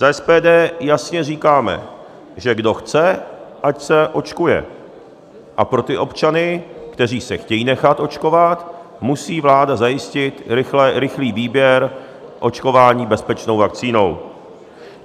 Za SPD jasně říkáme, že kdo chce, ať se očkuje, a pro ty občany, kteří se chtějí nechat očkovat, musí vláda zajistit rychlý výběr očkování bezpečnou vakcínou.